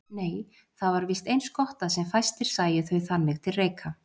Nei, það var víst eins gott að sem fæstir sæju þau þannig til reika.